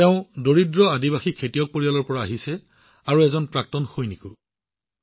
তেওঁ এক দৰিদ্ৰ জনজাতীয় কৃষক পৰিয়ালৰ পৰা আহিছে আৰু এজন প্ৰাক্তন সেনাও